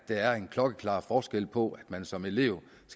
der er en klokkeklar forskel på man som elev